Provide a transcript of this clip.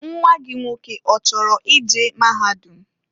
Nwa gị nwoke ọchọrọ i je maahadum?